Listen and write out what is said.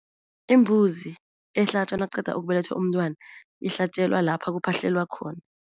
Imbuzi ehlatjwa nakuqeda ukubelethwa umntwana, ihlatjelwa lapha kuphahlelwa khona.